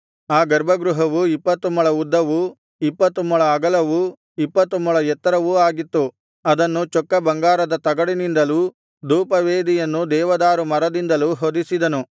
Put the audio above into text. ಆ ಗರ್ಭಗೃಹವು ಇಪ್ಪತ್ತು ಮೊಳ ಉದ್ದವೂ ಇಪ್ಪತ್ತು ಮೊಳ ಅಗಲವೂ ಇಪ್ಪತ್ತು ಮೊಳ ಎತ್ತರವೂ ಆಗಿತ್ತು ಅದನ್ನು ಚೊಕ್ಕ ಬಂಗಾರದ ತಗಡಿನಿಂದಲೂ ಧೂಪವೇದಿಯನ್ನು ದೇವದಾರು ಮರದಿಂದಲೂ ಹೊದಿಸಿದನು